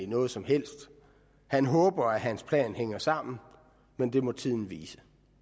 noget som helst han håber at hans plan hænger sammen men det må tiden vise